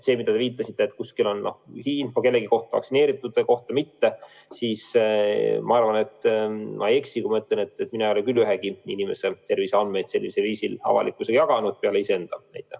See, millele te viitasite, et kuskil on info kellegi kohta, näiteks vaktsineeritute kohta – ma arvan, et ma ei eksi, kui ma ütlen, et mina ei ole küll ühegi inimese terviseandmeid sellisel viisil avalikkusega jaganud, üksnes enda kohta.